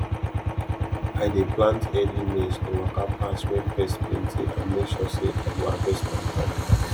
i dey plant early maize to waka pass when pest plenty and make sure say i go harvest on time